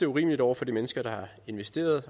urimeligt over for de mennesker der har investeret